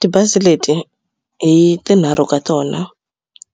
Tibazi leti hi tinharhu ka tona